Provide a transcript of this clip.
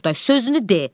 Oqtay, sözünü de.